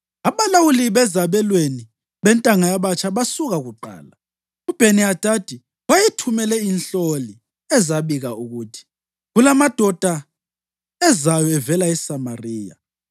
Abalawuli bezabelweni bentanga yabatsha basuka kuqala. UBheni-Hadadi wayethumele inhloli, ezabika ukuthi, “Kulamadoda ezayo evela eSamariya.”